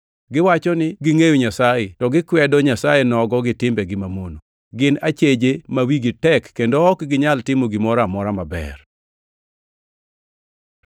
Giwacho ni gingʼeyo Nyasaye to gikwedo Nyasaye nogo gi timbegi manono. Gin acheje ma wigi tek kendo ok ginyal timo gimoro amora maber.